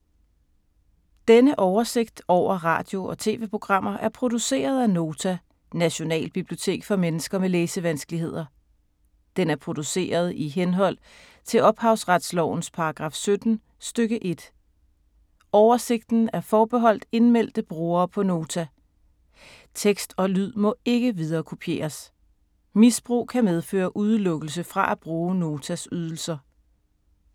Denne oversigt over radio og TV-programmer er produceret af Nota, Nationalbibliotek for mennesker med læsevanskeligheder. Den er produceret i henhold til ophavsretslovens paragraf 17 stk. 1. Oversigten er forbeholdt indmeldte brugere på Nota. Tekst og lyd må ikke viderekopieres. Misbrug kan medføre udelukkelse fra at bruge Notas ydelser.